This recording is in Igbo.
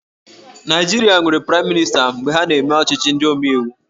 Naịjirịa nwere Praịm Mịnịsta mgbe ha na-eme ọchịchị ndị omeiwu